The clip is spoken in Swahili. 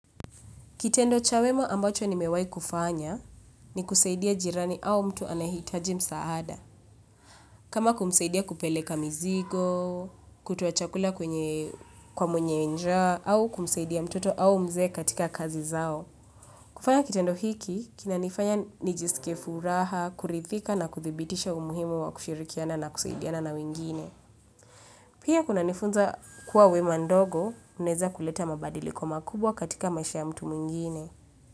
Kitendo cha wema ambacho nimewahikufanya ni kusaidia jirani au mtu anahitaji msaada. Kama kumsaidia kupeleka mzigo, kutoa chakula kwenye kwa mwenye njaa, au kumsaidia mtoto au mzee katika kazi zao. Kufanya kitendo hiki, kinanifanya nijiskie furaha, kurithika na kuthibitisha umuhimu wa kushirikiana na kusaidiana na wengine. Pia kunanifunza kuwa wema ndogo, uneza kuleta mabadiliko makubwa katika maisha ya mtu mwingine.